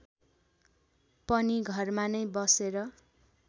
पनि घरमा नै बसेर